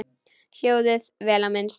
Hjólið, vel á minnst.